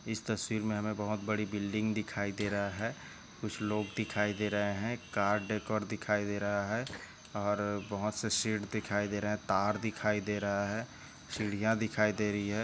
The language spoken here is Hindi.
इस तस्वीर मे हमे बहुत बड़ी बिल्डिंग दिखाई दे रहा है कुछ लोग दिखाई दे रहे है कार दिखाई दे रहा है और बहुत से शेड दिखाई रहे है तार दिखाई दे रहा है सीढ़िया दिखाई दे रही है।